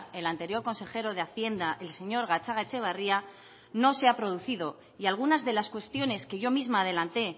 el anterior consejero de hacienda el señor gatzagaetxebarria no se ha producido y algunas de las cuestiones que yo misma adelanté